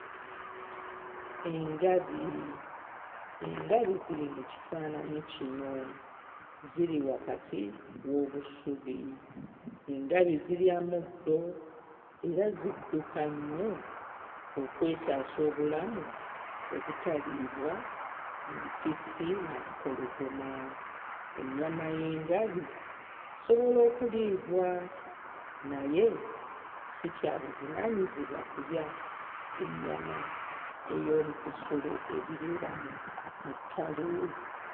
Engabi engabi ziri mu kifaananyi kino, ziri wakati w'obusubi. Engabi zirya muddo era zidduka nnyo okwetaasa obulamu obutaliibwa mpisi na mpologoma. Ennyama y'engabi esobola okuliibwa naye si kya buvunaanyizibwa kulya ennyama ey'omu bisolo ebibeera mu mu ttale.